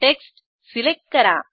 text select करा